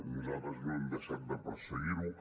nosaltres no hem deixat de perseguirho